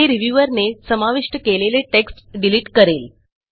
हे रिव्ह्यूअर ने समाविष्ट केलेले टेक्स्ट डिलिट करेल